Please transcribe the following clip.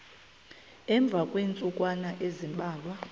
emva kweentsukwana ezimbalwa